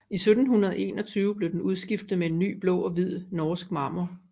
I 1721 blev den udskiftet med en ny i blå og hvid norsk marmor